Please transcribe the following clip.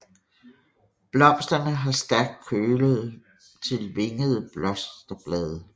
Blomsterne har stærkt kølede til vingede blosterblade